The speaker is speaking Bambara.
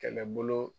Kɛlɛbolo